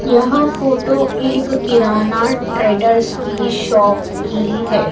यहां फोटो एक किराना ट्रेडर्स की शॉप की है।